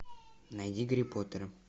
найди гарри поттера